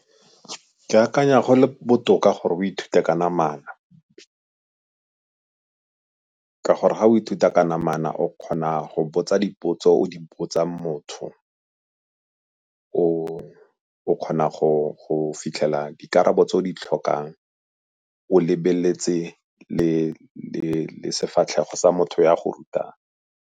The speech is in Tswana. Ke akanya go le botoka gore o ithute ka namana ka gore ga o ithuta ka namana o kgona go botsa dipotso o di botsang motho, o kgona go fitlhela dikarabo tse di tlhokang o lebeletse le sefatlhego sa motho yo a go rutang.